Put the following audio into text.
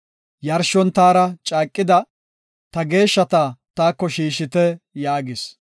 “Yarshon taara caaqida, ta geeshshata taako shiishite” yaagis.